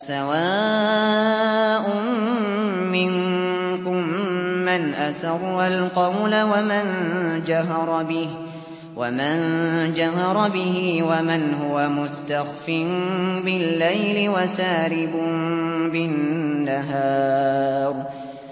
سَوَاءٌ مِّنكُم مَّنْ أَسَرَّ الْقَوْلَ وَمَن جَهَرَ بِهِ وَمَنْ هُوَ مُسْتَخْفٍ بِاللَّيْلِ وَسَارِبٌ بِالنَّهَارِ